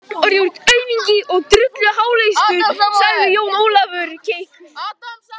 Þú ert aumingi og drulluháleistur, sagði Jón Ólafur keikur.